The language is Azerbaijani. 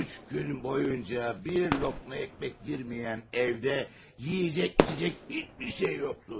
Üç gün boyunca bir loqma ekmek yemiyən evdə yeyəcək-içəcək heç bir şey yoxdu.